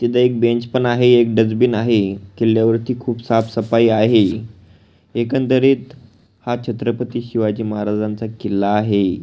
तिथ एक बेंच पण आहे एक डस्टबिन आहे किल्यावर खुप साफ सफाई आहे एकंदरित हा छत्रपती शिवाजी महाराजाचा किल्ला आहे.